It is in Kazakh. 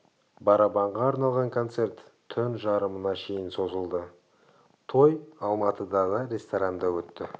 барабанға арналған концерт түн жарымына шейін созылды той алматыда ресторанда өтті